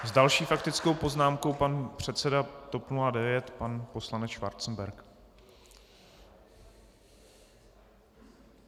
S další faktickou poznámkou pan předseda TOP 09, pan poslanec Schwarzenberg.